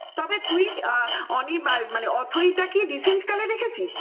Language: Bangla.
তবে তুমি অনির্বাণ অথৈ টা কি recent কালে দেখেছিস?